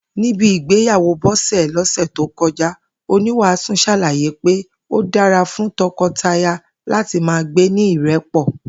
Níbi ìgbéyàwó Bó̩sè̩ lọ́sè̩ tó ko̩já, oníwàásù s̩àla̩yé pé ó dára fún to̩ko̩taya láti máa gbé ní ìré̩pò̩